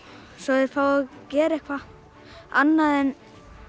svo þeir fái að gera eitthvað annað en